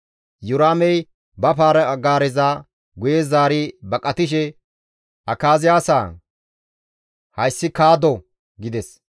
Iyoraamey ba para-gaareza guye zaari baqatishe, «Akaziyaasaa! Hayssi kaddo» gides.